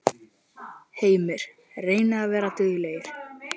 Heimir: Reynið að vera duglegri?